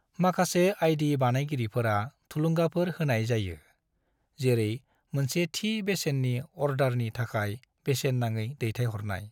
माखासे आई.डी. बानायगिरिफोरा थुलुंगाफोर होनाय जायो, जेरै मोनसे थि बेसेननि अर्डारनि थाखाय बेसेन नाङै दैथायहरनाय।